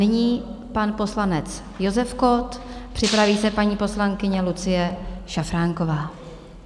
Nyní pan poslanec Josef Kott, připraví se paní poslankyně Lucie Šafránková.